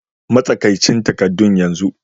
Matsakaicin takaddun yanzu!